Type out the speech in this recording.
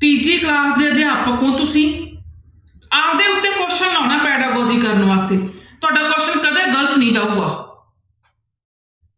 ਤੀਜੀ class ਦੇ ਅਧਿਆਪਕ ਹੋ ਤੁਸੀਂ ਆਪਦੇ ਉੱਤੇ question ਲਾਉਣਾ ਕਰਨ ਵਾਸਤੇ ਤੁਹਾਡਾ question ਕਦੇ ਗ਼ਲਤ ਨੀ ਜਾਊਗਾ